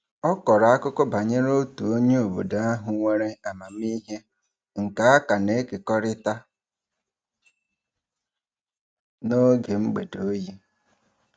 Ọ kọrọ akụkọ banyere otu onye obodo ahụ nwere amamiihe nke a ka na-ekekọrịta n'oge mgbede oyi.